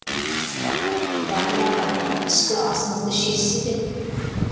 батыр аға түскі асыңызды ішесіз бе